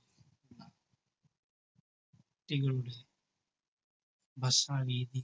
കുട്ടികളുടെ ഭക്ഷണ രീതി.